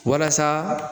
Walasa